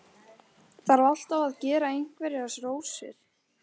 Þarf alltaf að gera einhverjar rósir.